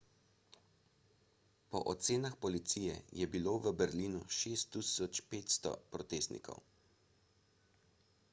po ocenah policije je bilo v berlinu 6500 protestnikov